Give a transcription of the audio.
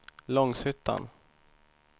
Långshyttan